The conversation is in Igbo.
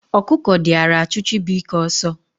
Okuko diara achu Chibuike oso